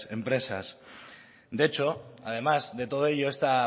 empresas de hecho además de todo ello esta